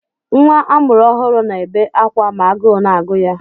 Nwa amụrụ ọhụrụ na-ebe akwa ma agụụ na-agụ ya.